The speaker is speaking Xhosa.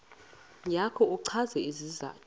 yakho uchaze isizathu